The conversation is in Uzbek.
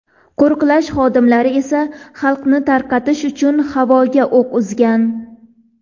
Qo‘riqlash xodimlari esa xalqni tarqatish uchun havoga o‘q uzgan.